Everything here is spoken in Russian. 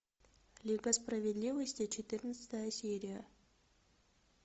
лига справедливости четырнадцатая серия